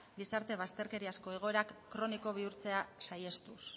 gizarte bazterkeriazko egoerak kroniko bihurtzea saihestuz